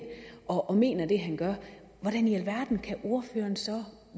og mener det han gør hvordan i verden kan ordføreren så